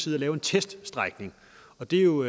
lave en teststrækning og det er jo